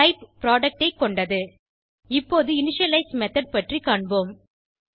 type product ஐ கொண்டது இப்போது இனிஷியலைஸ் மெத்தோட் பற்றி காண்போம்